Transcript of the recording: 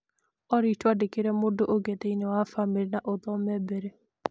Olly, twandĩkĩre mũndũ ũngĩ thĩinĩ wa famĩlĩ na ũthome mbere